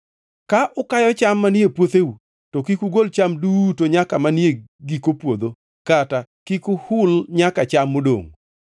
“ ‘Ka ukayo cham manie puotheu, to kik ugol cham duto nyaka manie giko puodho, kata kik uhul nyaka cham modongʼ.